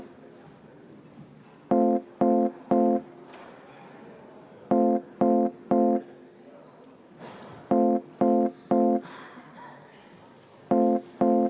Nüüd on 20 minutit vaheaega.